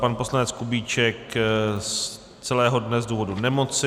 Pan poslanec Kubíček z celého dne z důvodu nemoci.